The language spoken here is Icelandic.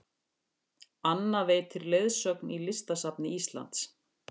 Anna veitir leiðsögn í Listasafni Íslands